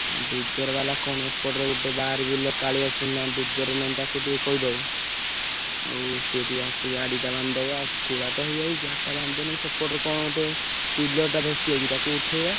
ଆଉ dozer ବାଲା କଣ ଏପଟରେ ଗୋଟେ ବାରବିଲ କାଳିଆ ସୁନା dozer ନହେଲେ ତାକୁ ଟିକେ କହିଦବ। ଆଉ ସେ ଟିକେ ଆସି ଗାଡ଼ିଟା ବାନ୍ଧିଦବ ଆଉ ଖୋଳା ତ ହେଇଯାଇଛି ଗାଡ଼ିଟା ବାନ୍ଧିଦେଲେ ସେପଟରୁ କଣ ଗୋଟେ କରିବାନି କିଏ ବାକି ନେବେ ଇଏ ନେବେ କାଉଁରୀକି pillar ଟା ଧସି ହେଇଛି ତାକୁ ଉଠେଇବା।